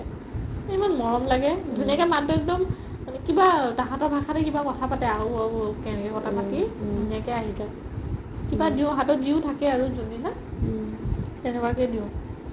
এই ইমান মৰম লাগে ধুনীয়াকে মাত দিওতে একদম কিবা তাহাতৰ ভাষাতে কিবা কথা পাতে আউ আউ কিবা এনেকে কথা পাতি ধুনীয়াকে আহি যাই কিবা দিও হাতত যিও থাকে আৰু যোনদিনা তেনেকুৱা কে দিও